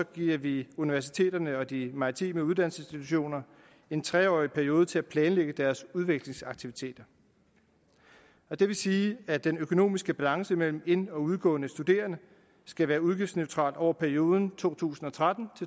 giver vi universiteterne og de maritime uddannelsesinstitutioner en tre årig periode til at planlægge deres udviklingsaktiviteter det vil sige at den økonomiske balance mellem ind og udgående studerende skal være udgiftsneutral over perioden to tusind og tretten